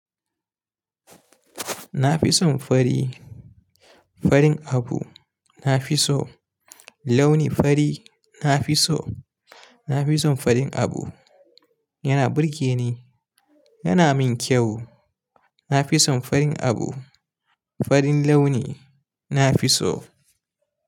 Na fi son fari, farin abu na fi so, launi fari na fi so. Na fi son farin abu, yana burge ni, yana min kyau. Na fi son farin abu, farin launi na fi so.